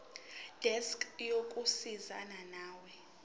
desk yokusizana nawe